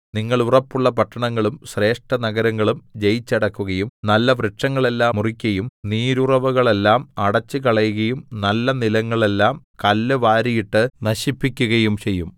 നിങ്ങൾ ഉറപ്പുള്ള പട്ടണങ്ങളും ശ്രേഷ്ഠനഗരങ്ങളും ജയിച്ചടക്കുകയും നല്ലവൃക്ഷങ്ങളെല്ലാം മുറിക്കയും നീരുറവുകളെല്ലാം അടെച്ചുകളകയും നല്ല നിലങ്ങളെല്ലാം കല്ല് വാരിയിട്ടു നശിപ്പിക്കയും ചെയ്യും